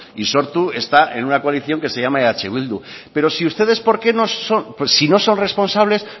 y sortu está en una coalición que se llama eh bildu pero si ustedes porque no son si no son responsables